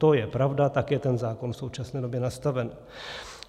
To je pravda, tak je ten zákon v současné době nastaven.